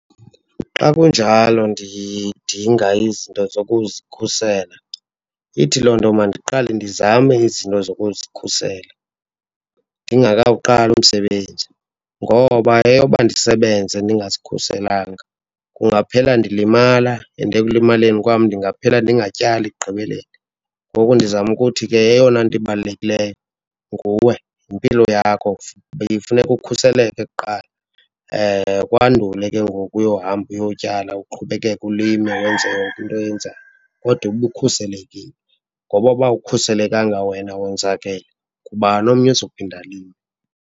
Xa kunjalo ndidinga izinto zokuzikhusela, ithi loo nto mandiqale ndizame izinto zokuzikhusela ndingekawuqali umsebenzi. Ngoba eyoba ndisebenze ndingazikhuselanga kungaphela ndilimala and ekulimaleni kwam ndingaphela ndingatyali ekugqibeleni. Ngoku ndizama ukuthi ke eyona into ibalulekileyo nguwe, yimpilo yakho, funeka ukhuseleke kuqala kwandule ke ngoku uyohamba uyotyala, uqhubekeke ulime wenze yonke into Oyenzayo, kodwa ube ukhuselekile. Ngoba uba awukhuselekanga wena wonzakele, ngubani omnye ozophinde alime?